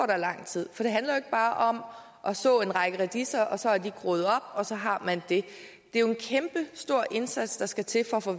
der lang tid for det handler jo ikke bare om at så en række radiser og så er de groet op og så har man det det er jo en kæmpestor indsats der skal til for at få